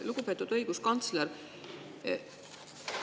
Lugupeetud õiguskantsler!